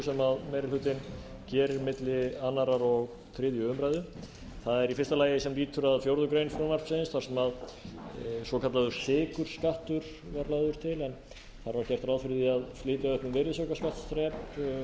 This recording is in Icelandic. sem meiri hlutinn gerir milli annars og þriðju umræðu það er í fyrsta lagi sem lýtur að fjórðu grein frumvarpsins þar sem svokallaður sykurskattur var lagður til en þar var gert ráð fyrir því að flytja upp um virðisaukaskattsþrep gos